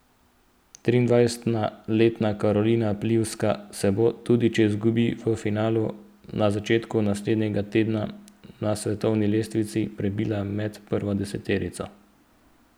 Triindvajsetletna Karolina Pliskova se bo, tudi če bi izgubil v finalu, na začetku naslednjega tedna na svetovni lestvici prebila med prvo deseterico.